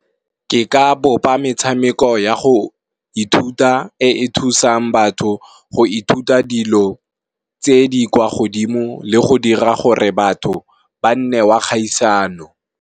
Ke ka bopa metshameko ya go ithuta e e thusang batho go ithuta dilo tse di kwa godimo le go dira gore batho ba nne wa kgaisano.